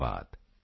ਧੰਨਵਾਦ